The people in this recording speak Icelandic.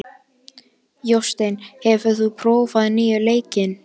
Jósteinn, hefur þú prófað nýja leikinn?